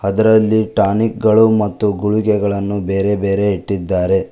ಅದರಲ್ಲಿ ಟಾನಿಕ್ಗಳು ಮತ್ತು ಗುಳಿಗೆಗಳನ್ನು ಬೇರೆ ಬೇರೆ ಇಟ್ಟಿದ್ದಾರೆ.